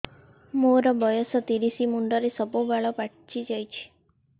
ମୋର ବୟସ ତିରିଶ ମୁଣ୍ଡରେ ସବୁ ବାଳ ପାଚିଯାଇଛି